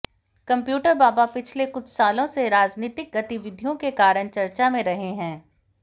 computer बाबा पिछले कुछ सालों से राजनीतिक गतिविधियों के कारण चर्चा में रहे हैं